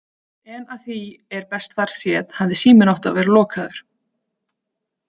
En að því er best varð séð, hafði síminn átt að vera lokaður.